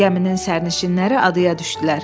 Gəminin sərnişinləri adaya düşdülər.